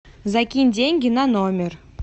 закинь деньги на номер